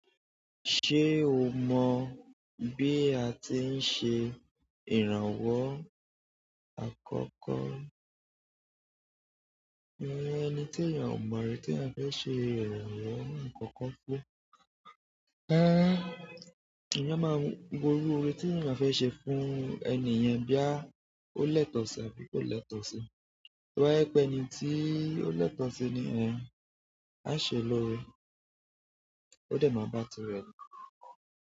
Ṣé o mọ bí a ti ń ṣe ìrànwọ́ àkọ́kọ́? Ìyen ẹni tí ènìyàn ò mọ̀ rí tí ènìyàn fẹ́ ṣe ìrànwọ́ àkọ́kọ́ fún. Rara ènìyàn maa wọ irure ti eyan fe se fún ẹni yen boya o yàtọ̀ si tàbí ko lẹtọ si toba je pé ẹni tí ó l'ẹ́tọ̀ ṣi nìyẹn, a ṣe lóore. Ó dẹ̀ máa bá ti rẹ lo.